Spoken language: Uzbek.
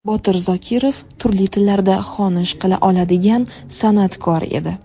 Botir Zokirov turli tillarda xonish qila oladigan san’atkor edi.